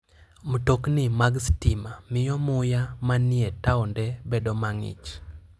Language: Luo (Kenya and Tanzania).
Mtokni mag stima miyo muya manie taonde bedo mang'ich.